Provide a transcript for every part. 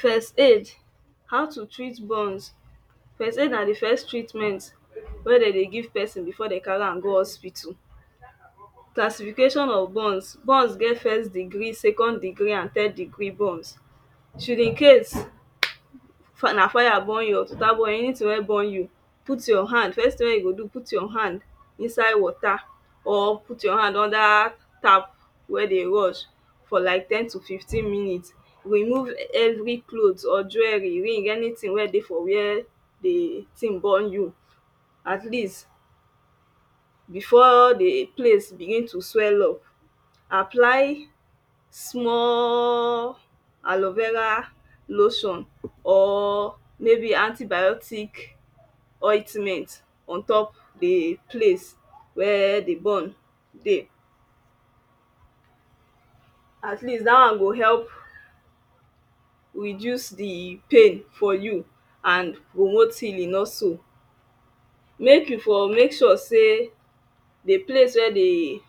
First aid, how to treat burns. First aid na the first treatment wey they dey give person before dey carry am go hospital.. Classifications of burns; burns get first degree, second degree and third degree burns. Should Incase na fire burn you or anything wey burn you, put your hand, the first thing wey you go do, put your hand inside water or put your hand under tap wey dey rush for like 10-15 minutes. Remove every cloth or jewelry, ring, anything wey dey for where the thing burn you At least before the place begin to swell up, apply small alovera lotion or maybe antibiotic ointment on top the place wey the burn dey. At least that one go help reduce the pain for you and promote healing also. May you for make sure sey the place wey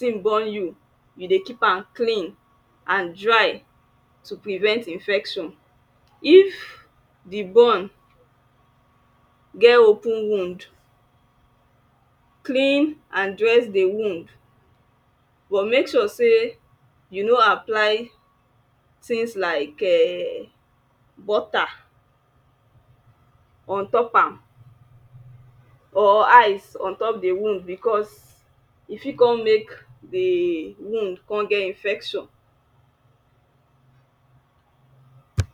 the burn you you dey keep am clean and dry to prevent infection. If the burn get open wound clean and dress the wound but make sure say you no apply things like ehn, butter on top am or ice or on top the wound because e got come make the wound come get infection